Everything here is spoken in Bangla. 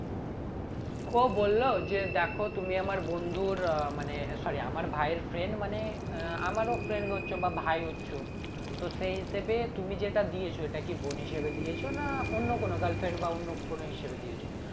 ও বললো যে দেখো তুমি আমার বন্ধুর আহ মানে sorry আমার ভায়ের friend মানে আহ আমারও friend হচ্ছ বা ভাই হচ্ছ তো সেই হিসাবে তুমি যেটা দিয়েছো এটা কি বোন হিসেবে দিয়েছো না অন্য কোনো girlfriend বা অন্য কোনো হিসেবে দিয়েছো